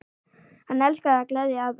Hann elskaði að gleðja aðra.